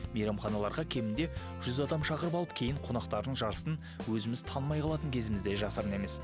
мейрамханаларға кемінде жүз адам шақырып алып кейін қонақтардың жартысын өзіміз танымай қалатын кезіміз де жасырын емес